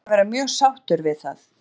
Ég er búinn að vera mjög sáttur við það.